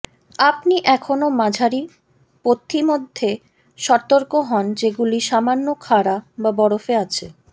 আপনি এখনও মাঝারি পথিমধ্যে সতর্ক হন যেগুলি সামান্য খাড়া বা বরফে আছে